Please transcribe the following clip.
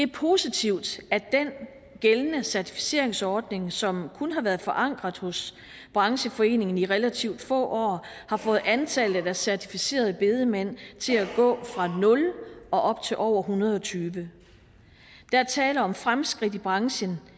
positivt at den gældende certificeringsordning som kun har været forankret hos brancheforeningen i relativt få år har fået antallet af certificerede bedemænd til at gå fra nul og op til over en hundrede og tyve der er tale om fremskridt i branchen